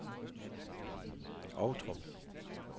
Ovtrup